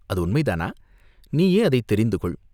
அது உண்மைதானா?" "நீயே அதைத் தெரிந்துகொள்!